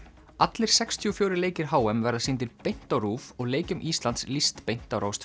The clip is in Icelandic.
allir sextíu og fjórir leikir h m verða sýndir beint á RÚV og leikjum Íslands lýst beint á Rás